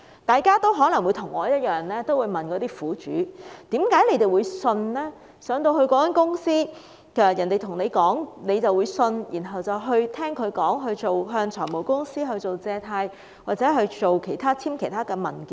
大家可能與我一樣，會問苦主為何進入那間公司，人家說甚麼就相信，然後向財務公司借貸或簽署其他文件？